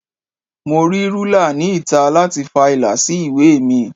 Mo rí rúlà ni ìta láti fa ìlà sí ìwé mi.